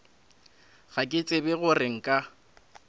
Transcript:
ga ke tsebe gore nka